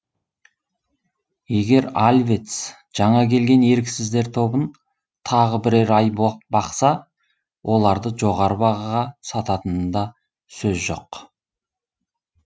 егер альвец жаңа келген еріксіздер тобын тағы бірер ай бақса оларды жоғары бағаға сататынында сөз жоқ